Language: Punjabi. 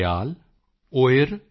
ਉਯਿਰ ਮੋਇਮਬੁਰ ਅੋਂਦੁਡੈਯਾਲ